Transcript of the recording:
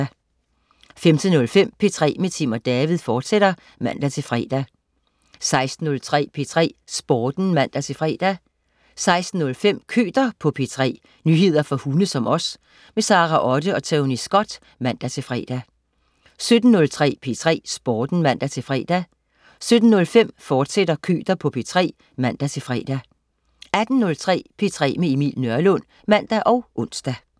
15.05 P3 med Tim & David, fortsat (man-fre) 16.03 P3 Sporten (man-fre) 16.05 Køter på P3. nyheder for hunde som os. Sara Otte og Tony Scott (man-fre) 17.03 P3 Sporten (man-fre) 17.05 Køter på P3, fortsat (man-fre) 18.03 P3 med Emil Nørlund (man og ons)